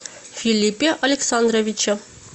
филиппе александровиче